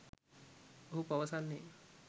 ඔහු පවසන්නේ